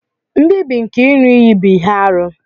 Nbibi nke iṅu-iyi bu ihe-árú.